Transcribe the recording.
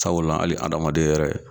Sabula ali adamaden yɛrɛ